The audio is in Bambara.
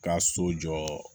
Ka so jɔ